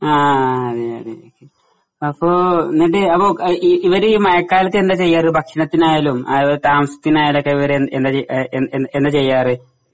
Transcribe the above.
ആ അതേ അതേ അപ്പോ നിന്റെ അപ്പോ ഇവര് ഈ മഴക്കാലത്ത് എന്താ ചെയ്യാറ് ഭക്ഷണത്തിനായാലും അത്പോലെ താമസത്തിനായാലും ഒക്കെ അവര് എന്ത് എന്താ എന്താ ചെയ്യാറ്?